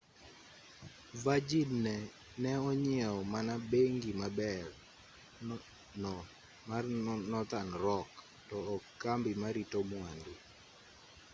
virgin ne onyieo mana 'bengi maber' no mar nothern rock to ok kambi marito mwandu